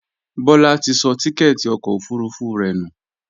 Bọ́lá ti sọ tíkẹ́ẹ́tì ọkọ̀ òfurufú rẹ̀ nù